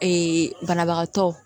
banabagatɔ